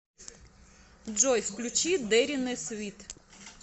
джой включи дэринэ свит